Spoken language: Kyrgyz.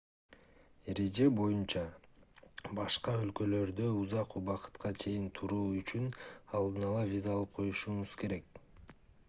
эреже боюнча башка өлкөлөрдө узак убакытка чейин туруу үчүн алдын-ала виза алып коюшуңуз керек